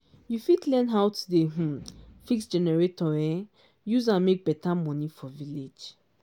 you fit learn how to dey um fix generator um use am make better money for village.